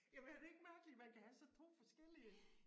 Jamen er det ikke mærkeligt man kan have så 2 forskellige